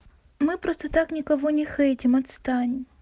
мы просто так никого не хейтим отстань